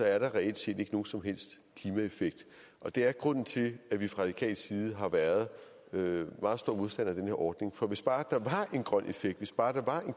er der reelt set ikke nogen som helst klimaeffekt og det er grunden til at vi fra radikal side har været meget stor modstander af den her ordning for hvis bare der var en grøn effekt hvis bare der var en